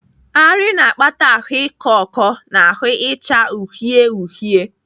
Arị na-akpata ahụ ịkọ ọkọ na ahụ icha uhie uhie.